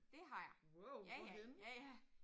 Det har jeg ja ja ja ja